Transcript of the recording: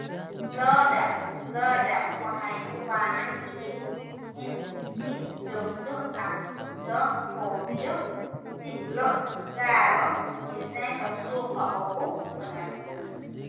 Lo'da lo'da waxay u baahan yihiin in si joogto ah loo quudiyo si loo gaaro miisaanka suuqa ugu wanaagsan.